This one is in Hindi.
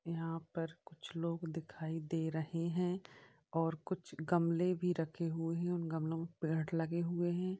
यहाँ पर कुछ लोग दिखाई दे रहे हैं। और कुछ गमले भी रखे हुए है उन गमलो में पेड़ लगे हुए हैं।